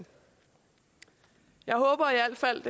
jeg håber i al fald